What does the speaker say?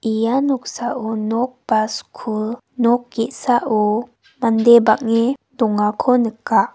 ia noksao nok ba skul nok ge·sao mande bang·e dongako nika.